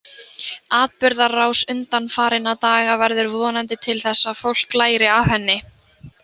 Atburðarás undanfarinna daga verður vonandi til þess að fólk læri af henni.